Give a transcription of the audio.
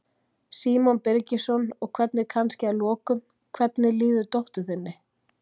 Símon Birgisson: Og hvernig, kannski að lokum, hvernig líður dóttur þinni?